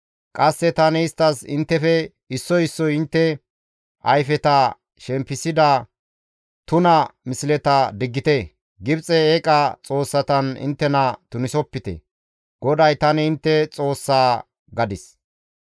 Qasse tani isttas, ‹Inttefe issoy issoy intte ayfeta shempisida tuna misleta diggite; Gibxe eeqa xoossatan inttena tunisopite. GODAY tani intte Xoossa› gadis.